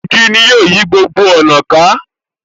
Igi ni ó yí gbogbo ọ̀nà ká.